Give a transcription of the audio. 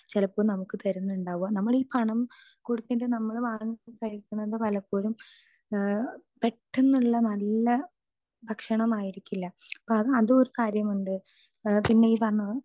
speaker 2 ചിലപ്പോ നമുക്ക് തരുന്നുണ്ടാവ നമ്മൾ ഈ പണം കൊടുത്ത് നമ്മൾ വാങ്ങി കഴിക്കുന്നത് പലപ്പോഴും പെട്ടെന്നുള്ള നല്ല ഭക്ഷണമായിരിക്കില്ല അപ്പൊ അതൊരു കാര്യമുണ്ട് പിന്നെ ഈ പറഞ്ഞത്